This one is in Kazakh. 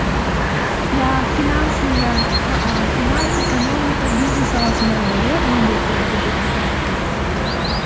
иә финансы иә а а финансы экономика бизнес саласындағылар иә блумберг туралы көбірек ақпарат біледі деп ойлаймын